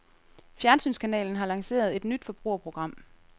Fjernsynskanalen har lanceret et nyt forbrugerprogram.